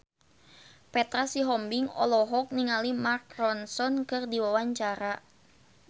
Petra Sihombing olohok ningali Mark Ronson keur diwawancara